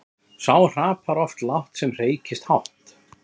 Sá hrapar oft lágt sem hreykist hátt.